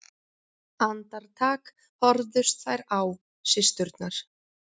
Andartak horfðust þær á systurnar.